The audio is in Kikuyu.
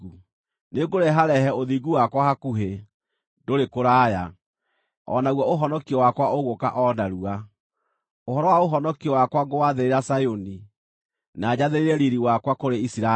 Nĩngũreharehe ũthingu wakwa hakuhĩ, ndũrĩ kũraya; o naguo ũhonokio wakwa ũgũũka o narua. Ũhoro wa ũhonokio wakwa ngũwathĩrĩra Zayuni, na njathĩrĩre riiri wakwa kũrĩ Isiraeli.